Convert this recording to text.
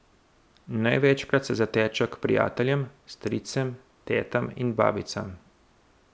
Največkrat se zatečejo k prijateljem, stricem, tetam in babicam.